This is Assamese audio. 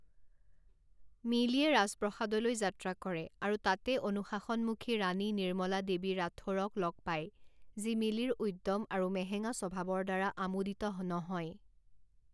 মিলিয়ে ৰাজপ্ৰসাদলৈ যাত্ৰা কৰে আৰু তাতে অনুশাসন মুখী ৰাণী নিৰ্মলা দেৱী ৰাথোৰক লগ পায় যি মিলিৰ উদ্যম আৰু মেহেঙা স্বভাৱৰ দ্বাৰা আমোদিত নহয়।